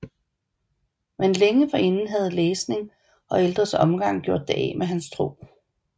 Men længe forinden havde læsning og ældres omgang gjort det af med hans tro